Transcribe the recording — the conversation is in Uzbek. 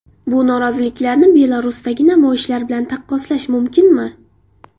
Bu noroziliklarni Belarusdagi namoyishlar bilan taqqoslash mumkinmi?